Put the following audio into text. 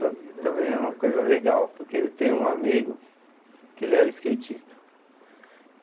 Tam também é uma coisa legal, porque eu tenho um amigo que ele era skatista.